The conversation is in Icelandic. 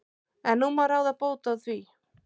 En nú má ráða bóta á því.